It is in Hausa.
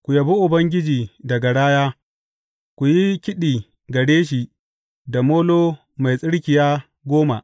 Ku yabi Ubangiji da garaya; ku yi kiɗi gare shi da molo mai tsirkiya goma.